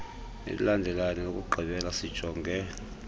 elilandelayo nelokugqibela sijonge